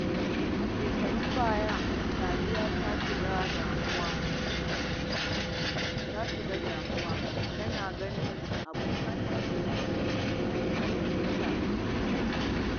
A shekarun baya, Sadiya ta shiga damuwa domin tana ganin abokanta sun fi ta samun ci gaba.